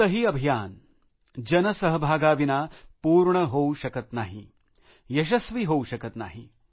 कोणतेही अभियान जनसहभागाविना पूर्ण होऊ शकत नाही यशस्वी होऊ शकत नाही